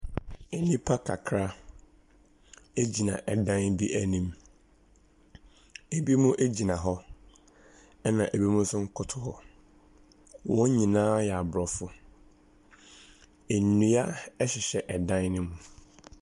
Nnipa kakra gyina dan bi anim. Ebinom gyina hɔ, ɛnna ebinom nso koto hɔ. Wɔn nyinaa yɛ aborɔfo. Nnua hyehyɛ dan no mu.